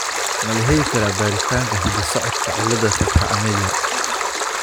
Ma la heli karaa baaritaanka hidda-socodka cilada tetra amelia?